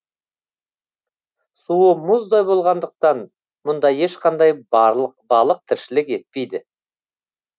суы мұздай болғандықтан мұнда ешқандай балық тіршілік етпейді